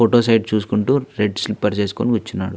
Photo side చూసుకుంటూ red slippers వేసుకొని కూర్చున్నాడు.